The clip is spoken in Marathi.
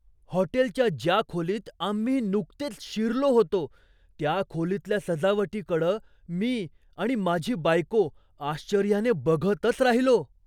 हॉटेलच्या ज्या खोलीत आम्ही नुकतेच शिरलो होतो त्या खोलीतल्या सजावटीकडं मी आणि माझी बायको आश्चर्याने बघतच राहिलो.